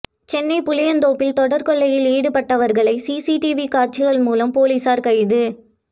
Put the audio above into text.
சென்னை புளியந்தோப்பில் தொடர் கொள்ளையில் ஈடுபட்டவர்களை சிசிடிவி காட்சிகள் மூலம் போலீசார் கைது